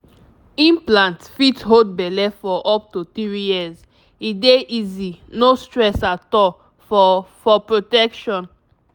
implant fit hold belle for up to three years e dey easy no stress at all for for protection.